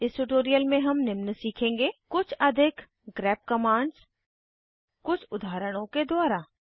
इस ट्यूटोरियल में हम निम्न सीखेंगे कुछ अधिक ग्रेप ग्रेप कमांड्स कुछ उदाहरणों के द्वारा